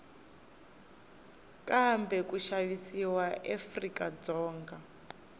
kumbe ku xavisiwa eafrika dzonga